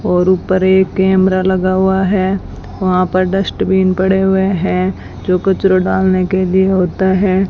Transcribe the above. और ऊपर एक कैमरा लगा हुआ हैं वहां पर डस्टबिन पड़े हुएं हैं जो कचरा डालने के लिए होते हैं।